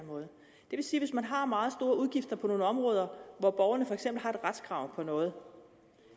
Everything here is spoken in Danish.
vil sige hvis man har meget store udgifter på nogle områder hvor borgerne for eksempel har et retskrav på noget